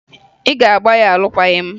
Ị ga-agba ya alụkwaghị m!